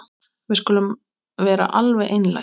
Við skulum vera alveg einlæg.